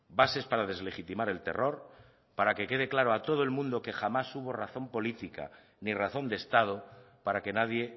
bases para deslegitimar el terror para que quede claro a todo el mundo que jamás hubo razón política ni razón de estado para que nadie